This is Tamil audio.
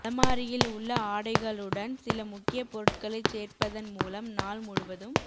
அலமாரியில் உள்ள ஆடைகளுடன் சில முக்கியப் பொருட்களைச் சேர்ப்பதன் மூலம் நாள் முழுவதும்